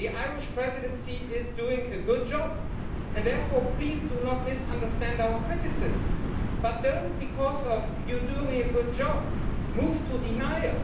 The Irish Presidency is doing a good job and therefore please do not misunderstand our criticism but, just because you are doing a good job, do not move to denial.